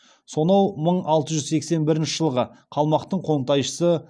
сонау мың алты жүз сексен бірінші жылғы қалмақтың қоңтайшысы